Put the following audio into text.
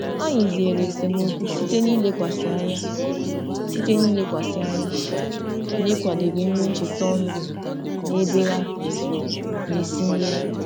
Anyị zere esemokwu site n'ilekwasị anya site n'ilekwasị anya n'ịkwadebe nri ncheta ọnụ n'ebe a na-esi nri.